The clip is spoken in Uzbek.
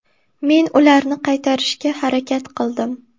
Men ularni qaytarishga harakat qildim.